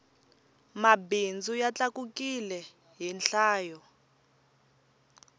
mabindzu ya tlakukile hi nhlayo